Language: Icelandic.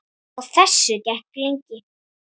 Á þessu gekk lengi.